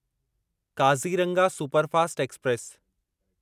Kaziranga superfast express